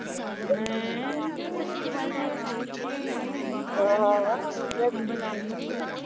ਹੈਆ ਆ, ਪਹਿਲੀ ਵਾਰ ਦੇਖ ਕੇ ਐ ਹੈ ਐ ਹੈ ਨੰਬਰ ਲੈ ਲੈਂਦੀ ਫਿਰ ਉਹਦਾ